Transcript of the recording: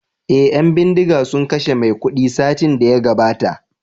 eh yan bindiga sun kashe maikudu satin daya gabata